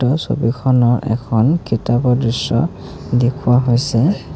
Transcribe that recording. ওপৰৰ ছবিখনৰ এখন কিতাপৰ দৃশ্য দেখুওৱা হৈছে।